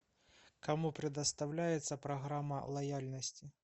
кому предоставляется программа лояльности